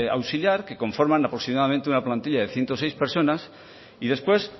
auxiliar que conforman aproximadamente una plantilla de ciento seis personas y después